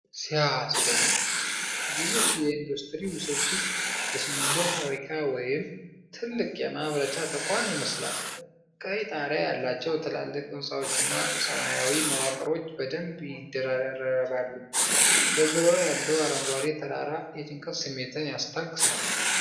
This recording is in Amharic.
ሲያስደንቅ! ግዙፍ የኢንዱስትሪ ውስብስብ! የሲሚንቶ ፋብሪካ ወይም ትልቅ የማምረቻ ተቋም ይመስላል። ቀይ ጣሪያ ያላቸው ትላልቅ ህንፃዎችና ሰማያዊ መዋቅሮች በደንብ ይደራረባሉ። በዙሪያው ያለው አረንጓዴ ተራራ የጭንቀት ስሜትን ያስታግሳል።